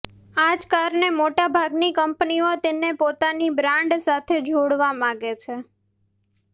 આ જ કારણે મોટાભાગની કંપનીઓ તેને પોતાની બ્રાન્ડ સાથે જોડવા માંગે છે